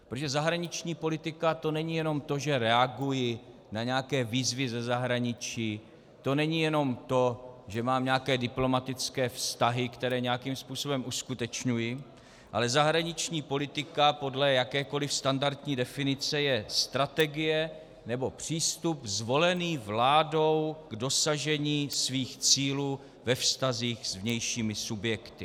Protože zahraniční politika, to není jen to, že reaguji na nějaké výzvy ze zahraničí, to není jenom to, že mám nějaké diplomatické vztahy, které nějakým způsobem uskutečňuji, ale zahraniční politika podle jakékoliv standardní definice je strategie nebo přístup zvolený vládou k dosažení svých cílů ve vztazích s vnějšími subjekty.